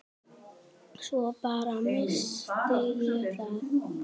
Svo bara. missti ég það.